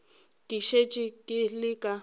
ke šetše ke le ka